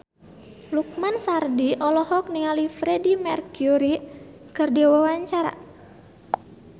Lukman Sardi olohok ningali Freedie Mercury keur diwawancara